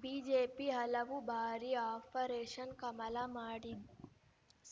BJP ಹಲವು ಬಾರಿ operation Kamala ಮಾಡಿ